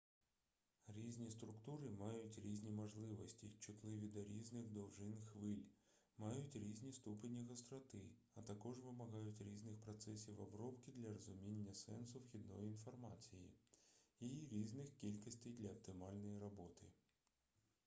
різні структури мають різні можливості чутливі до різних довжин хвиль мають різні ступені гостроти а також вимагають різних процесів обробки для розуміння сенсу вхідної інформації і різних кількостей для оптимальної роботи